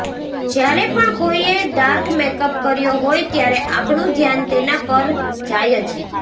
જ્યારે પણ કોઈએ ડાર્ક મેકઅપ કર્યો હોય ત્યારે આપણું ધ્યાન તેના પર જાય જ